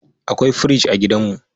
Akwai fridge a gidanmu.